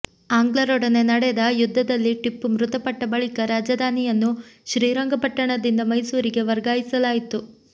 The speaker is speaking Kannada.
ಆಂಗ್ಲರೊಡನೆ ನಡೆದ ಯುದ್ದದಲ್ಲಿ ಟಿಪ್ಪು ಮೃತಪಟ್ಟ ಬಳಿಕ ರಾಜಧಾನಿಯನ್ನು ಶ್ರೀರಂಗಪಟ್ಟಣದಿಂದ ಮೈಸೂರಿಗೆ ವರ್ಗಾಯಿಸಲಾಯಿತು